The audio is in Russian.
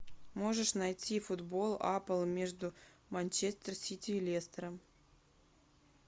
можешь найти футбол апл между манчестер сити и лестером